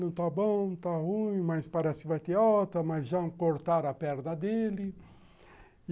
Não está bom, não está ruim, mas parece que vai ter alta, mas já cortaram a perna dele.